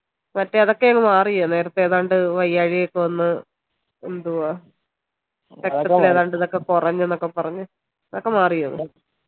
മറ്റേ അതൊക്കെ അങ്ങ് മാറിയോ നേരത്തെ ഏതാണ്ട് വയ്യഴിക ഒക്കെ വന്ന് എന്തുവാ കൊറഞ്ഞന്ന് ഒക്കെ പറഞ് അതൊക്കെ മാറിയോ